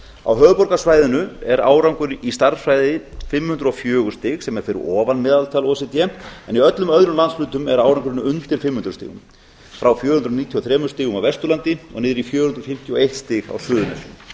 á höfuðborgarsvæðinu er árangur í stærðfræði fimm hundruð og fjögur stig sem er fyrir ofan meðaltal o e c d en í öllum öðrum landshlutum er árangurinn undir fimm hundruð stigum frá fjögur hundruð níutíu og þremur stigum á vesturlandi og niður í fjögur hundruð fimmtíu og eitt stig á suðurnesjum